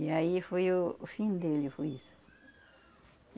E aí foi o o fim dele, foi isso.